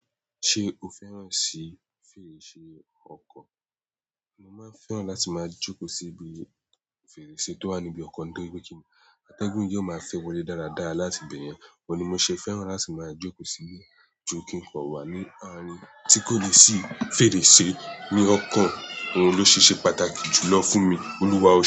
Ṣé o fẹ́ràn sí fèrèsé ọkọ? Mo máa ń fẹ́ràn láti máa jókòó sí ibi fèrèsé tó wà níbi ọkọ̀ ntòripe kin ni. Atẹ́gùn yóò máa fẹ́ wọlé dáradára láti ìbẹ̀yẹn, òun ni mo ṣe fẹ́ràn láti máa jókòó sí. Jú kí n kọ̀ wá ní àárín tí kò ni ṣì fèrèsé ní ọkọ̀, òun ló ṣe ṣe pàtàkì jùlọ fún mi. Olúwa o.